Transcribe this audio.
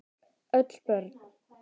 Öll börn